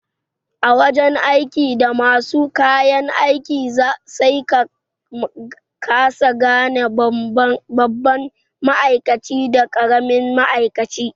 A wajan aiki da basu da kayan aiki sai sa ka kasa gane babban ma'aikaci da karimin ma'aikaci